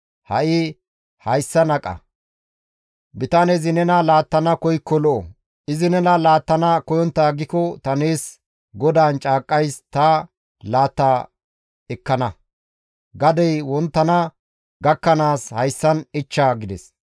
Ha7i hayssan aqa; bitanezi nena laattana koykko lo7o; izi nena laattana koyontta aggiko ta nees GODAAN caaqqays ta laata ekkana; gadey wonttana gakkanaas hayssan ichcha» gides.